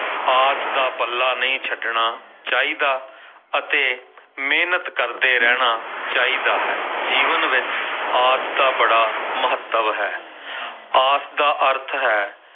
ਆਸ ਦਾ ਪੱਲਾ ਨਹੀਂ ਛੱਡਣਾ ਚਾਹੀਦਾ ਅਤੇ ਮਿਹਨਤ ਕਰਦੇ ਰਹਿਣਾ ਚਾਹੀਦਾ ਹੈ, ਜੀਵਨ ਵਿੱਚ ਆਸ ਦਾ ਬੜਾ ਮਹੱਤਵ ਹੈ ਆਸ ਦਾ ਅਰਥ ਹੈ,